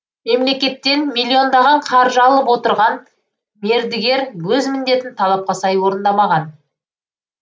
мемлекеттен миллиондаған қаржы алып отырған мердігер өз міндетін талапқа сай орындамаған